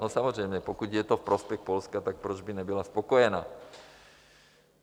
No samozřejmě, pokud je to ve prospěch Polska, tak proč by nebyla spokojená?